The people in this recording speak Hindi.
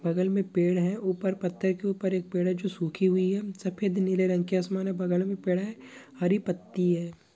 बगल में पेड़ है ऊपर पथ्थर के ऊपर एक पेड़ है जो सुखी हुईं है सफेद नीले रंग की आसमान है बगल में पेड है हरी पत्ती है।